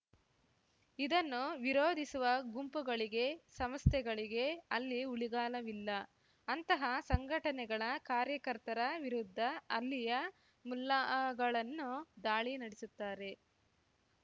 ಇದನ್ನು ವಿರೋಧಿಸುವ ಗುಂಪುಗಳಿಗೆ ಸಂಸ್ಥೆಗಳಿಗೆ ಅಲ್ಲಿ ಉಳಿಗಾಲವಿಲ್ಲ ಅಂತಹ ಸಂಘಟನೆಗಳ ಕಾರ್ಯಕರ್ತರ ವಿರುದ್ಧ ಅಲ್ಲಿಯ ಮುಲ್ಲಾಗಳನ್ನು ದಾಳಿ ನಡೆಸುತ್ತಾರೆ